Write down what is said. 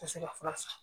Ka se ka fura san